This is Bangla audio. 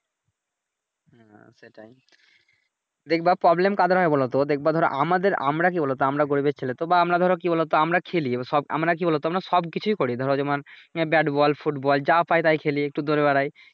হ্যাঁ সেটাই দেখবা Problem কাদের হয় বলোতো দেখবা ধরো আমাদের আমরা কি বলোতো আমরা গরীবের ছেলে তো বা আমরা ধরো কি বলোতো আমরা খেলি সব আমরা কি বলোতো আমরা সব কিছুই করি ধরো যেমন আহ ব্যাড বল, ফুটবল যা পাই তাই খেলি একটু দৌড়ে বেড়াই